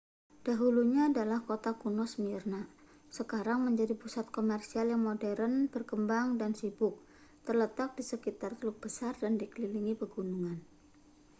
dahulunya adalah kota kuno smyrna sekarang menjadi pusat komersial yang modern berkembang dan sibuk terletak di sekitar teluk besar dan dikelilingi pegunungan